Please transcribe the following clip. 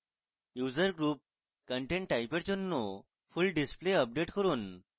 user group content type এর জন্য full display update করুন